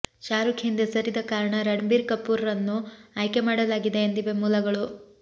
ಶಾರುಖ್ ಹಿಂದೆ ಸರಿದ ಕಾರಣ ರಣಬೀರ್ ಕಪೂರ್ರನ್ನು ಆಯ್ಕೆ ಮಾಡಲಾಗಿದೆ ಎಂದಿವೆ ಮೂಲಗಳು